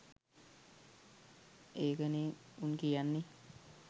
ඒක නෙ උන් කියන්නෙ